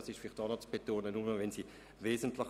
Letzteres ist vielleicht auch zu betonen.